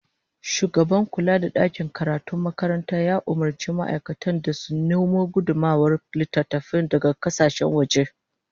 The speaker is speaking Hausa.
Shugaban kula da dakin karatun makaranta ya umurci ma'aikatan sa su nemo gudummawar littattafai daga kasashen waje